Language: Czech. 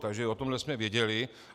Takže o tomhle jsme věděli.